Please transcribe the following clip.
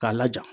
K'a laja